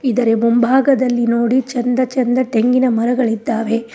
ಇದರ ಮುಂಭಾಗದಲ್ಲಿ ನೋಡಿ ಚಂದ ಚಂದ ತೆಂಗಿನ ಮರಗಳಿದ್ದಾವೆ.